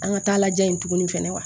An ka taa lajɛ tuguni fɛnɛ